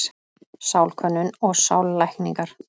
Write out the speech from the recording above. Sálkönnun og sállækningar.